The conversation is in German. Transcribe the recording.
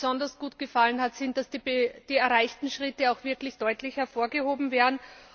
Was mir besonders gut gefallen hat, ist, dass die erreichten Schritte auch wirklich deutlich hervorgehoben werden.